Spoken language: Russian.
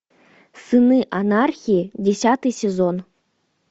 сыны анархии десятый сезон